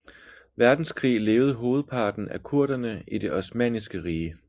Verdenskrig levede hovedparten af kurderne i det osmanniske rige